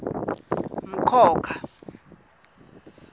mkhokha